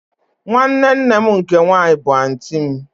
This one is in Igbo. Nwanne nne m nke nwanyị bụ anti m